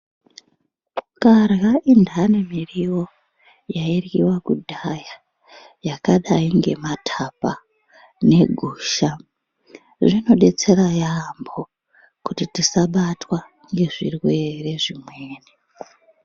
Ukarya intani miriwo yairyiwa kudhaya yakadai ngemathapa negusha, zvinodetsera yaampho ,kuti tisabatwa ngezvirwere zvimweni .